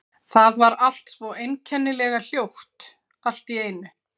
Það var allt svo einkennilega hljótt allt í einu.